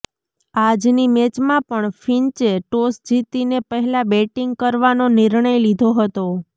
આજની મેચમાં પણ ફિન્ચે ટોસ જીતીને પહેલા બેટિંગ કરવાનો નિર્ણય લીધો હતો